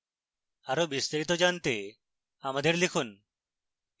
আরো বিস্তারিত জানতে আমাদের লিখুন